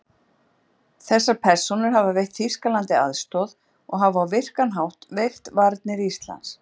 Þessar persónur hafa veitt Þýskalandi aðstoð og hafa á virkan hátt veikt varnir Íslands.